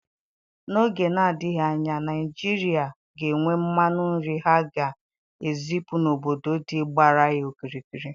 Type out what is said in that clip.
N'oge na adịghị anya Naigeria ga enwe mmanụ nri ha ga ezipu n'obodo dị gbara ya okirikiri